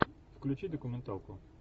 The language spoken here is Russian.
включи документалку